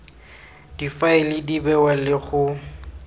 difaele di bewa le go